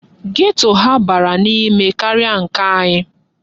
Geto ha bara n'ime karịa nke anyị.